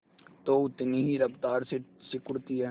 तो उतनी ही रफ्तार से सिकुड़ती है